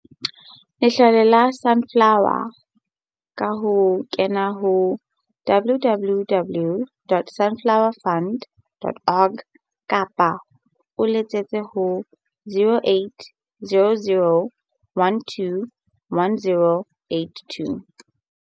Letlole la Su nflower ka ho kena ho www.sunflowefund.org kapa o letsetse ho 0800 12 10 82.